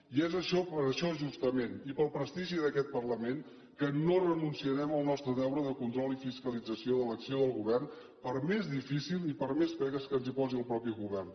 i és això justament i pel prestigi d’aquest parlament que no renunciarem al nostre deure de control i fiscalització de l’acció del govern per més difícil i per més pegues que ens hi posi el propi govern